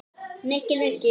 Nikki, Nikki!